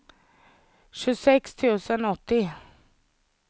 tjugosex tusen åttio